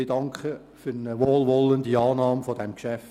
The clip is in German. Ich danke für eine wohlwollende Annahme dieses Geschäfts.